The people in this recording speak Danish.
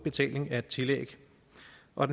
og